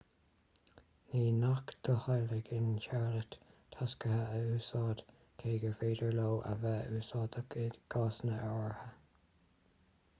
ní gnách do theaghlaigh in charlotte tacsaithe a úsáid cé gur féidir leo a bheith úsáideach i gcásanna áirithe